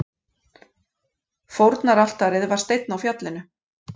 Fórnaraltarið var steinn á fjallinu.